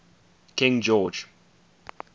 king george